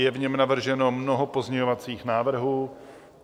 Je v něm navrženo mnoho pozměňovacích návrhů.